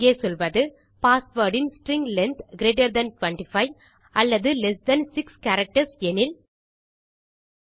இங்கே சொல்வது பாஸ்வேர்ட் இன் ஸ்ட்ரிங் லெங்த் கிரீட்டர் தன் 25 அல்லது லெஸ்ஸர் தன் 6 கேரக்டர்ஸ் எனில்